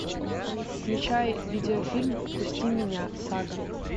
включай видеофильм впусти меня сага